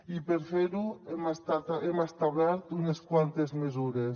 i per fer ho hem establert unes quantes mesures